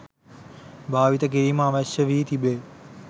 භාවිතා කිරීම අවශ්‍ය වී තිබේ